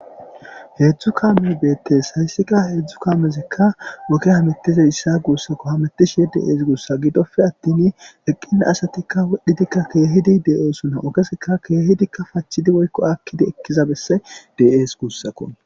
heedzdzu kaame beettees hayssika heedzdzu kaamezikka woke hamettize issa guussako hametishe de7ees guussa gidoppe attin eqqina asatikka wodhidikka keehidi de7esuna okesika keehidikka pachidi woykko akkidi ekkiza besse dees guussako.